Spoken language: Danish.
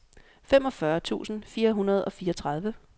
femogfyrre tusind fire hundrede og fireogtredive